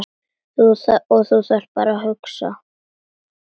Og þú þarft að hugsa.